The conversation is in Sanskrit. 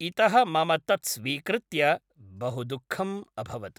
इतः मम तत्‌ स्वीकृत्य बहु दुःखं अभवत्‌